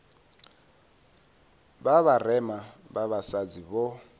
vha vharema vha vhasadzi vho